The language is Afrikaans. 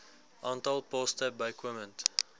aantal poste bykomend